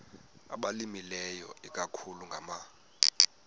abalimileyo ikakhulu ngama